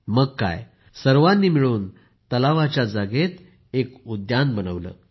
मग काय सर्वांनी मिळून तलावाच्या मोकळ्या जागेत उद्यान बनवले